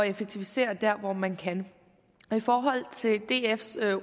effektivisere der hvor man kan i forhold til dfs